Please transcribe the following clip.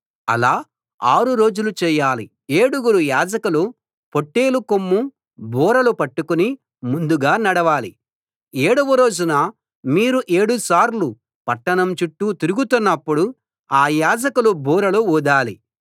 అలా ఆరు రోజులు చేయాలి ఏడుగురు యాజకులు పొట్టేలు కొమ్ము బూరలు పట్టుకుని ముందుగా నడవాలి ఏడవ రోజున మీరు ఏడుసార్లు పట్టణం చుట్టూ తిరుగుతున్నప్పుడు ఆ యాజకులు బూరలు ఊదాలి